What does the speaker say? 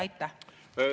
Aitäh!